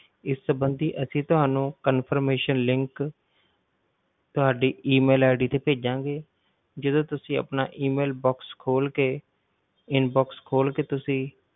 ਇਸ ਸੰਬੰਧੀ ਅਸੀਂ ਤੁਹਾਨੂੰ confirmation link ਤੁਹਾਡੀ E mail ਤੇ ਭੇਜਾਂਗੇ ਜਦੋਂ ਤੁਸੀਂ ਆਪਣਾ E mail box ਖੋਲ ਕੇ inbox ਖੋਲ ਕੇ ਤੁਸੀਂ,